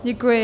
Děkuji.